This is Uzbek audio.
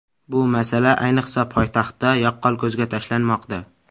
Bu masala ayniqsa poytaxtda yaqqol ko‘zga tashlanmoqda.